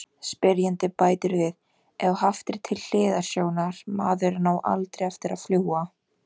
Spyrjandi bætir við: Ef haft er til hliðsjónar:.maðurinn á ALDREI eftir að fljúga.